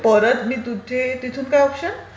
परत मी9 तिथे... तिथे काय ऑप्शन?